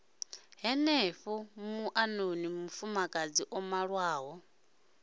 henefho muṱani mufumakadzi o malwaho